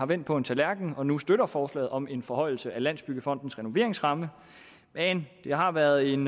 vendt på en tallerken og nu støtter forslaget om en forhøjelse af landsbyggefondens renoveringsramme men det har været en